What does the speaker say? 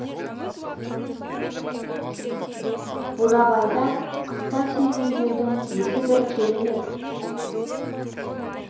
бурабайда қыста серуендеудің өзі бір керемет